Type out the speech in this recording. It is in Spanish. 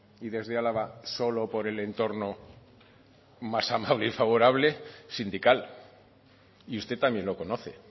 y desde álava solo por el entorno más amable y favorable sindical y usted también lo conoce